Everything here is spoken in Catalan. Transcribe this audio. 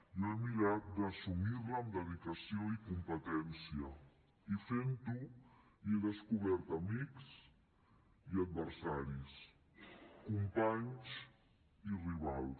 jo he mirat d’assumir la amb dedicació i competència i fent ho hi he descobert amics i adversaris companys i rivals